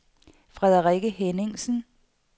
Frederikke Henningsen